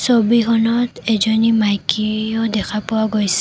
ছবিখনত এজনী মাইকীও দেখা পোৱা গৈছে।